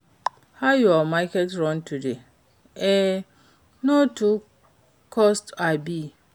How your market run today? E no too cost, abi?